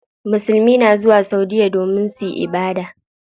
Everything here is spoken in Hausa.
Musulmai na zuwa saudiya domin suyi ibada.